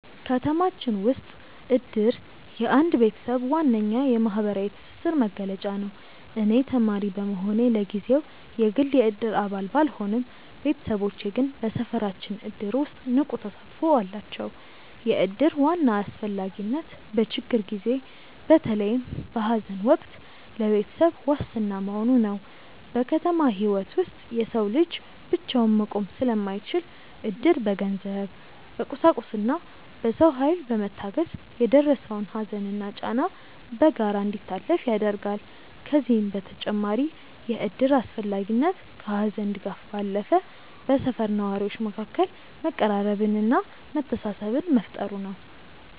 ከተማችን ውስጥ እድር የአንድ ቤተሰብ ዋነኛ የማህበራዊ ትስስር መገለጫ ነው። እኔ ተማሪ በመሆኔ ለጊዜው የግል የእድር አባል ባልሆንም፣ ቤተሰቦቼ ግን በሰፈራችን እድር ውስጥ ንቁ ተሳትፎ አላቸው። የእድር ዋና አስፈላጊነት በችግር ጊዜ፣ በተለይም በሐዘን ወቅት ለቤተሰብ ዋስትና መሆኑ ነው። በከተማ ህይወት ውስጥ የሰው ልጅ ብቻውን መቆም ስለማይችል፣ እድር በገንዘብ፣ በቁሳቁስና በሰው ኃይል በመታገዝ የደረሰውን ሐዘንና ጫና በጋራ እንዲታለፍ ያደርጋል። ከዚህም በተጨማሪ የእድር አስፈላጊነት ከሐዘን ድጋፍ ባለፈ በሰፈር ነዋሪዎች መካከል መቀራረብንና መተሳሰብን መፍጠሩ ነው።